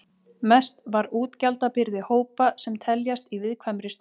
Mest var útgjaldabyrði hópa sem teljast í viðkvæmri stöðu.